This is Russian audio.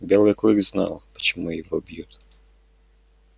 белый клык знал почему его бьют